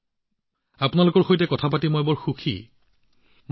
মোদী জীঃ আপোনাৰ লগত কথা পাতি বহুত সুখী অনুভৱ কৰিছো